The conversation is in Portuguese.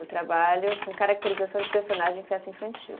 Eu trabalho com caracterização de personagem em festa infantil.